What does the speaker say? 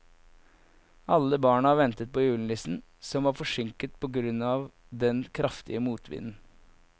Alle barna ventet på julenissen, som var forsinket på grunn av den kraftige motvinden.